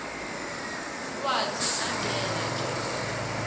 watsi angena nje